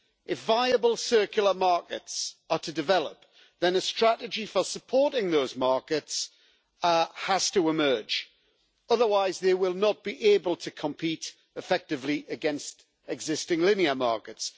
If viable circular markets are to develop, then a strategy for supporting those markets has to emerge, otherwise they will not be able to compete effectively against existing linear markets.